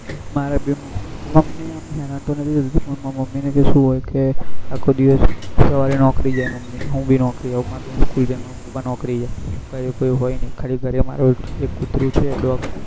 મારે બી મમી આમ હેરાન તો નથી થતી પણ માર મમી ને શું હોય કે આખો દિવસ સવારે નોકરી જાય મમી હું બી નોકરી જવું મારી બેન school જાય માર પાપા નોકરી જાય ઘરે કોઈ હોય નહી ખાલી ઘરે મારો એક કુતર્રો છે dog